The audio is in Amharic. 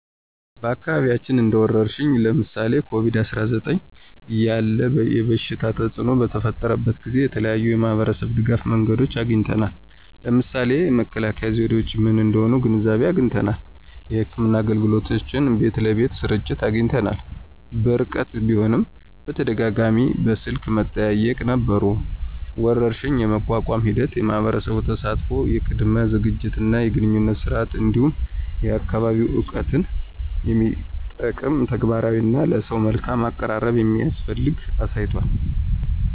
በአካባቢያችን እንደ ወረርሽኝ (ለምሳሌ ኮቪድ-19) ያለ የበሽታ ተፅእኖ በተፈጠረበት ጊዜ የተለያዩ የማህበረሰብ ድጋፍ መንገዶችን አግኝተናል። ለምሳሌ መከላከያ ዘዴዎች ምን እንደሆኑ ግንዛቤ አግኝተናል። የሕክምና አገልግሎቶች በቤት ለቤት ስርጭት አግኝተናል። በርቀት ቢሆንም በተደጋጋሚ በስልክ መጠያየቅ ነበሩ። ወረርሽኝን የመቋቋም ሂደት የማህበረሰብ ተሳትፎ፣ የቅድመ ዝግጅት እና የግንኙነት ስርዓት፣ እንዲሁም የአካባቢ እውቀትን የሚጠቅም ተግባራት እና ለሰው መልካም አቀራረብ እንደሚያስፈልግ አሳይቷል።